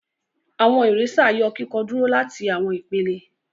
Awọn eraser yọ kikọ kúrò láti awọn ìpele.